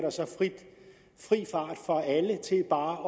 frit slag for alle til bare